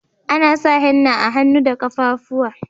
Ana sa henna a hannu da kaffafuwa.